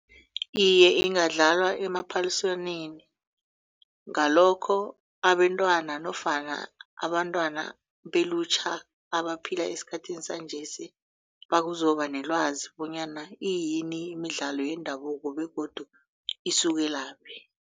Iye, ingadlalwa emaphaliswaneni ngalokho abentwana nofana abantwana belutjha abaphila esikhathini sanjesi bazokuba nelwazi bonyana iyini imidlalo yendabuko begodu isukelaphi.